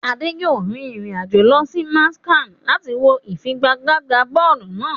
Ade yòó rin ìrìn àjò lọ sí Manchester láti wọ ìfigagbága bọ́ọ̀lù náà.